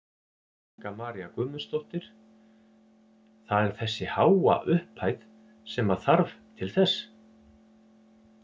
Helga María Guðmundsdóttir: Það er þessi háa upphæð sem að þarf til þess?